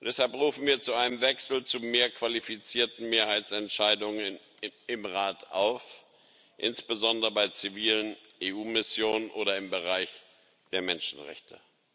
Deshalb rufen wir zu einem Wechsel zu mehr qualifizierten Mehrheitsentscheidungen im Rat auf, insbesondere bei zivilen EU Missionen oder im Bereich der Menschenrechte.